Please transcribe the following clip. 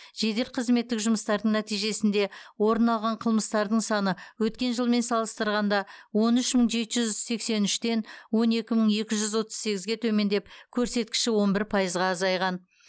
жедел қызметтік жұмыстардың нәтижесінде орын алған қылмыстардың саны өткен жылмен салыстырғанда он үш мың жеті жүз сексен үштен он екі мың екі жүз отыз сегізге төмендеп көрсеткіші он бір пайызға азайған